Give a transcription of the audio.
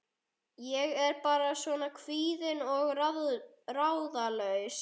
Ég er bara svona kvíðin og ráðalaus.